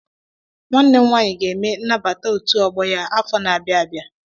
Nwanne m nwaanyị ga-eme nnabata otu ọgbọ ya afọ n'abia abịa.